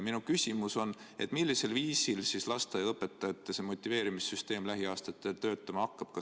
Minu küsimus on: millisel viisil siis lasteaiaõpetajate motiveerimise süsteem lähiaastatel töötama hakkab?